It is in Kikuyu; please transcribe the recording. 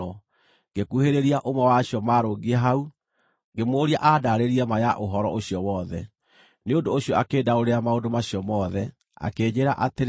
Ngĩkuhĩrĩria ũmwe wa acio maarũngiĩ hau, ngĩmũũria andaarĩrie ma ya ũhoro ũcio wothe. “Nĩ ũndũ ũcio akĩndaũrĩra maũndũ macio mothe, akĩnjĩĩra atĩrĩ: